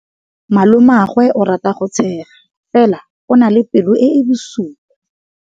Malomagwe o rata go tshega fela o na le pelo e e bosula.